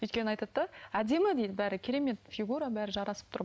өйткені айтады да әдемі дейді бәрі керемет фигура бәрі жарасып тұр